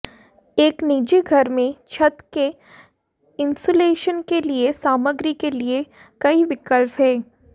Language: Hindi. एक निजी घर में छत के इन्सुलेशन के लिए सामग्री के लिए कई विकल्प हैं